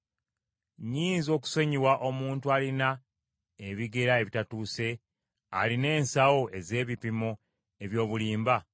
Nnyinza okusonyiwa omuntu alina ebigera ebitatuuse, alina ensawo ez’ebipimo eby’obulimba?